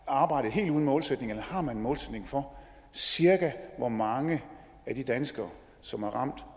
arbejdet helt uden målsætning eller har man en målsætning for cirka hvor mange af de danskere som er ramt